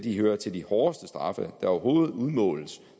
hører til de hårdeste straffe der overhovedet udmåles